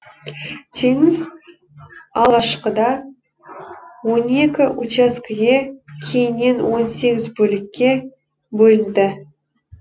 теңіз алғашқыда он екі учаскіге кейіннен он сегіз бөлікке бөлінді